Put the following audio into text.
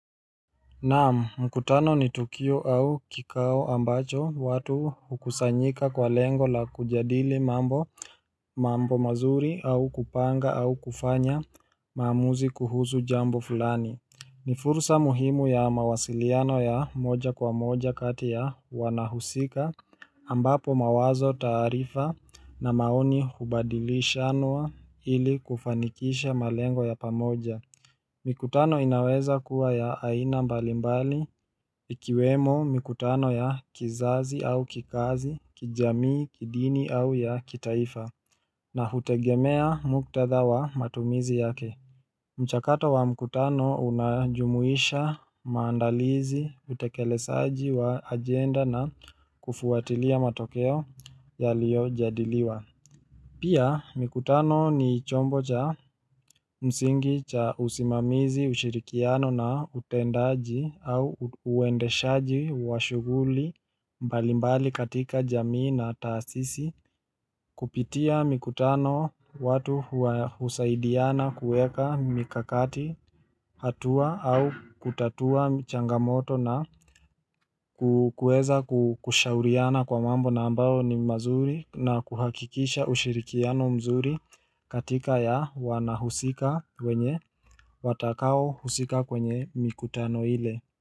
Naam mkutano ni Tukio au kikao ambacho watu hukusanyika kwa lengo la kujadili mambo mazuri au kupanga au kufanya maamuzi kuhusu jambo fulani ni fursa muhimu ya mawasiliano ya moja kwa moja kati ya wanahusika ambapo mawazo taarifa na maoni hubadilishanwa ili kufanikisha malengo ya pamoja Mikutano inaweza kuwa ya aina mbalimbali ikiwemo mikutano ya kizazi au kikazi, kijamii, kidini au ya kitaifa na hutegemea muktadha wa matumizi yake. Mchakato wa mkutano unajumuisha, maandalizi, utekelezaji wa agenda na kufuatilia matokeo yaliyojadiliwa. Pia mikutano ni chombo cha msingi cha usimamizi ushirikiano na utendaji au uendeshaji wa shughuli mbalimbali katika jamii na taasisi Kupitia mikutano watu husaidiana kuweka mikakati hatua au kutatua mchangamoto na kukueza kushauriana kwa mambo na ambayo ni mazuri na kuhakikisha ushirikiano mzuri katika ya wanahusika wenye watakao husika kwenye mikutano ile.